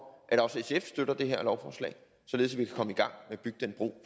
at også sf støtter det her lovforslag således at